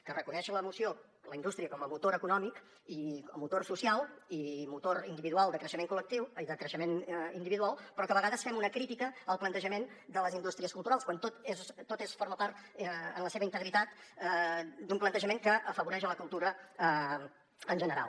que reconeix la moció la indústria com a motor econòmic i motor social i motor de creixement individual però a vegades fem una crítica al plantejament de les indústries culturals quan tot forma part en la seva integritat d’un plantejament que afavoreix la cultura en general